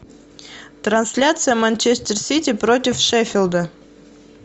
трансляция манчестер сити против шеффилда